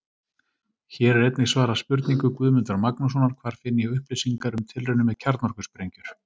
Hér er einnig svarað spurningu Guðmundar Magnússonar: Hvar finn ég upplýsingar um tilraunir með kjarnorkusprengjur?